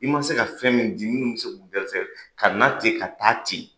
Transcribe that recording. I ma se ka fɛn min di minnu bɛ se k'u garisɛgɛ ka na ten ka taa ten